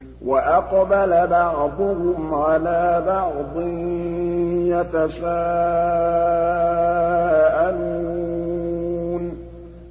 وَأَقْبَلَ بَعْضُهُمْ عَلَىٰ بَعْضٍ يَتَسَاءَلُونَ